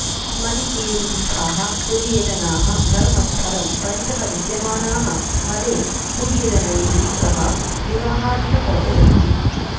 मडिकेरीस्थाः कुडियजनाः धर्मस्थलं परितः विद्यमानाः मलेकुडियजनैः सह विवाहादिकं रचयन्ति